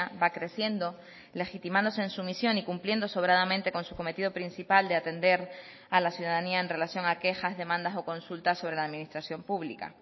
va creciendo legitimándose en su misión y cumpliendo sobradamente con su cometido principal de atender a la ciudadanía en relación a quejas demandas o consultas sobre la administración pública